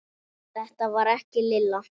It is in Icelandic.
Þetta var ekki Lilla.